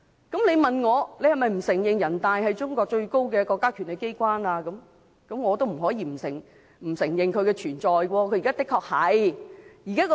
如果你問我，是否不承認人大常委會是中國最高的國家權力機關，我也不得不承認其存在，而現在的確是這樣。